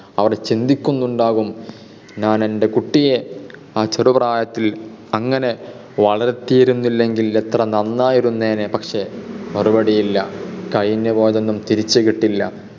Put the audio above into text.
അവർ ചിന്തിക്കുന്നുണ്ടാവും ഞാൻ എൻ്റെ കുട്ടിയെ ആ ചെറുപ്രായത്തിൽ അങ്ങനെ വളത്തിയിരുന്നില്ലെങ്കിൽ എത്ര നന്നായിരുന്നേനെ? പക്ഷെ മറുപടിയില്ല. കഴിഞ്ഞുപോയതൊന്നും തിരിച്ചു കിട്ടില്ല.